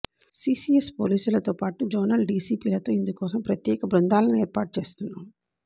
CCS పోలీసులతో పాటు zonal డీసీపీలతో ఇందుకోసం ప్రత్యేక బృందాలను ఏర్పాటు చేస్తున్నాము